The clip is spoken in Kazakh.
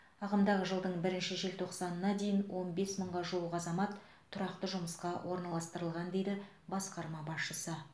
ағымдағы жылдың бірінші желтоқсанына дейін он бес мыңға жуық азамат тұрақты жұмысқа орналастырылған дейді басқарма басшысы